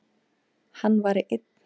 Hann væri einn.